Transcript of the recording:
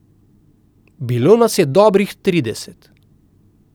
Bilo nas je dobrih trideset.